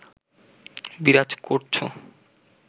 বিরাজ করছ